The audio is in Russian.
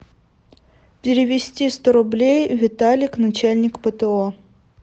перевести сто рублей виталик начальник пто